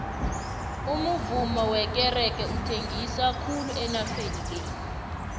umuvummo wekerege uthengisa khulu enageni le